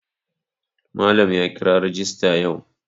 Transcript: Malam ya kira rajista yau.